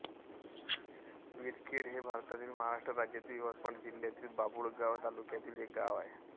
विरखेड हे भारतातील महाराष्ट्र राज्यातील यवतमाळ जिल्ह्यातील बाभुळगाव तालुक्यातील एक गाव आहे